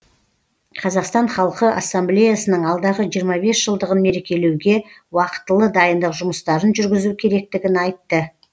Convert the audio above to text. қазақстан халқы ассамблеясының алдағы жиырма бес жылдығын мерекелеуге уақытылы дайындық жұмыстарын жүргізу керектігін айтты